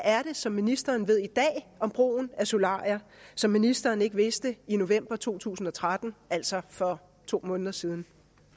er det som ministeren ved i dag om brugen af solarier som ministeren ikke vidste i november to tusind og tretten altså for to måneder siden